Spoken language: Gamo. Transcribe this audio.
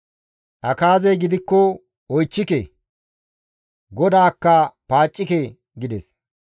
Akaazey gidikko, «Oychchike; GODAAKKA paaccike» gides.